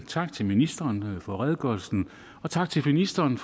tak til ministeren for redegørelsen og tak til ministeren